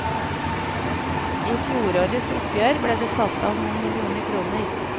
I fjorårets oppgjør ble det satt av noen millioner kroner.